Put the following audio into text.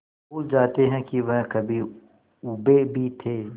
भूल जाते हैं कि वह कभी ऊबे भी थे